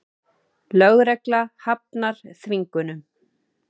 Lögregla hafnar þvingunum